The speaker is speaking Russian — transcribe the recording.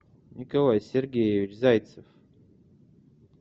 николай сергеевич зайцев